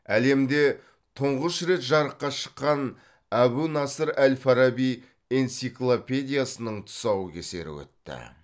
әлемде тұңғыш рет жарыққа шыққан әбу насыр әл фараби энциклопедиясының тұсаукесері өтті